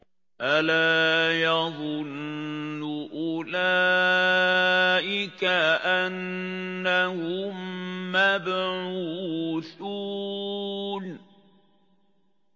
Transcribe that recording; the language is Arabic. أَلَا يَظُنُّ أُولَٰئِكَ أَنَّهُم مَّبْعُوثُونَ